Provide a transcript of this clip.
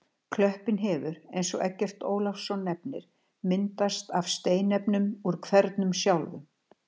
Klöppin hefur, eins og Eggert Ólafsson nefnir, myndast af steinefnum úr hverunum sjálfum.